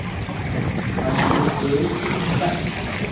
Hafa komið fyrirspurnir í Bent?